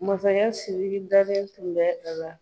Masakɛ sidiki dalen tun bɛ a la